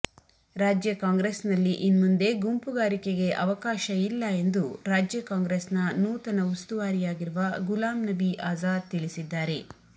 ರಾಜ್ಯ ಕಾಂಗ್ರೆಸ್ನಲ್ಲಿ ಇನ್ಮುಂದೆ ಗುಂಪುಗಾರಿಕೆಗೆ ಅವಕಾಶ ಇಲ್ಲ ಎಂದು ರಾಜ್ಯ ಕಾಂಗ್ರೆಸ್ನ ನೂತನ ಉಸ್ತುವಾರಿಯಾಗಿರುವ ಗುಲಾಂ ನಬಿ ಆಜಾದ್ ತಿಳಿಸಿದ್ದಾರೆ